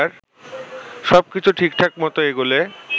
সবকিছু ঠিকঠাক মত এগোলে